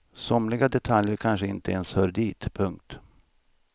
Somliga detaljer kanske inte ens hör dit. punkt